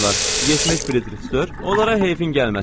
70 firitərsə, onlara heyfin gəlməsin.